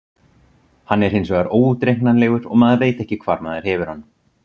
Hann er hinsvegar óútreiknanlegur og maður veit ekki hvar maður hefur hann.